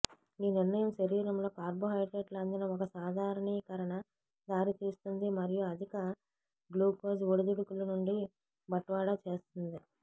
ఈ నిర్ణయం శరీరంలో కార్బోహైడ్రేట్లు అందిన ఒక సాధారణీకరణ దారితీస్తుంది మరియు అధిక గ్లూకోజ్ ఒడిదుడుకులు నుండి బట్వాడా చేస్తుంది